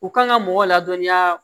U kan ka mɔgɔ ladɔnniya